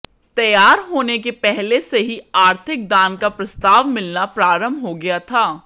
तैयार होने के पहले से ही आर्थिक दान का प्रस्ताव मिलना प्रारंभ हो गया था